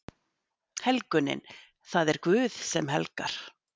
Helgunin: Það er Guð sem helgar.